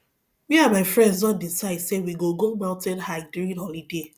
me and my friends don decide say we go go mountain hike during holiday